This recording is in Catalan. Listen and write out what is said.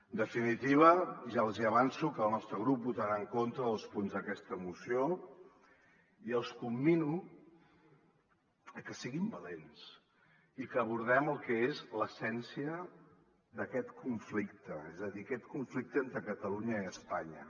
en definitiva ja els hi avanço que el nostre grup votarà en contra dels punts d’aquesta moció i els commino a que siguin valents i que abordem el que és l’essèn·cia d’aquest conflicte és a dir aquest conflicte entre catalunya i espanya